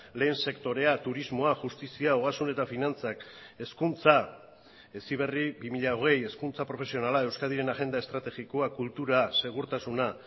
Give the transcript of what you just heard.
lehen sektorea turismoa justizia ogasun eta finantzak hezkuntza heziberri bi mila hogei hezkuntza profesionala euskadiren agenda estrategikoa kultura segurtasuna